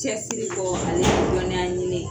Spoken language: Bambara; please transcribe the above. Cɛsiri kɔ aleni dɔniya ɲini